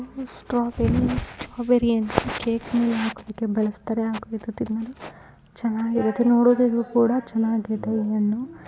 Strawberries strawberries ಅಂದ್ರೆ cake ಮೇಲೆ. ಹಾಕೋದಕ್ಕೆ ಬಳಸ್ತಾರೆ ಚೆನ್ನಾಗಿದೆ ನೋಡೋದಕ್ಕೂ ಕೂಡ ಚೆನ್ನಾಗಿದೆ ಈ ಹಣ್ಣು.